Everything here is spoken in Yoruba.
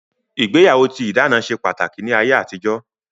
Ìgbéyàwó tí ìdáná ṣe pàtàkì ní ayé àtijó